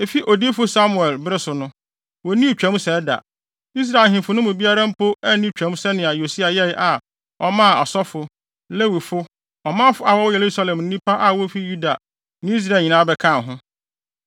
Efi odiyifo Samuel bere so no, wonnii Twam sɛɛ da. Israel ahemfo no mu biara mpo anni Twam sɛnea Yosia yɛe a ɔmaa asɔfo, Lewifo, ɔmanfo a wɔwɔ Yerusalem ne nnipa a wofi Yuda ne Israel nyinaa bɛkaa ho.